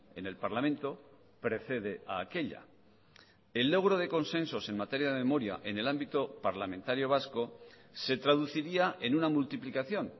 en el parlamento precede a aquella el logro de consensos en materia de memoria en el ámbito parlamentario vasco se traduciría en una multiplicación